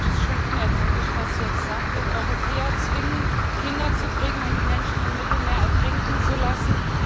Manches ist schon unerträglich, was hier gesagt wird. Europäer zwingen, Kinder zu kriegen und Menschen im Mittelmeer ertrinken zu lassen.